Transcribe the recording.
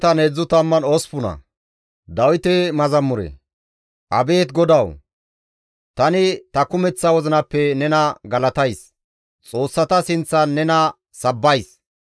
Abeet GODAWU! Tani ta kumeththa wozinappe nena galatays; xoossata sinththan nena sabbays.